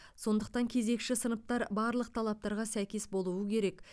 сондықтан кезекші сыныптар барлық талаптарға сәйкес болуы керек